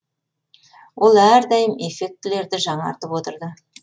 ол әрдайым эффектілерді жаңартып отырды